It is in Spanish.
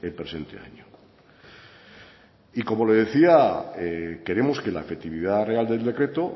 presente año y como le decía queremos que la efectividad real del decreto